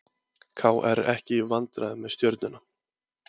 KR ekki í vandræðum með Stjörnuna